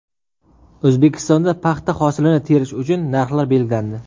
O‘zbekistonda paxta hosilini terish uchun narxlar belgilandi.